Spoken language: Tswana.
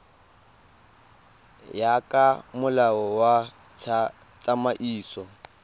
ya ka molao wa tsamaiso